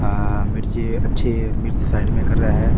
आ मिर्ची अच्छी मिर्ची साइड में कर रहा है।